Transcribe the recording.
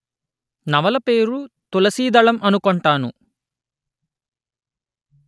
నవల పేరు తులసి దళం అనుకొంటాను